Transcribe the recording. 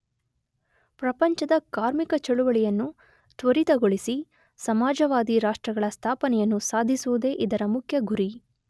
ಪ್ರಪಂಚದ ಕಾರ್ಮಿಕ ಚಳವಳಿಯನ್ನು ತ್ವರಿತಗೊಳಿಸಿ ಸಮಾಜವಾದಿರಾಷ್ಟ್ರಗಳ ಸ್ಥಾಪನೆಯನ್ನು ಸಾಧಿಸುವುದೇ ಇದರ ಮುಖ್ಯ ಗುರಿ.